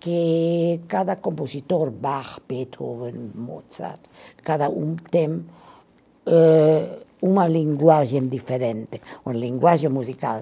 que cada compositor Bach, Beethoven, Mozart, cada um tem eh uma linguagem diferente, uma linguagem musical.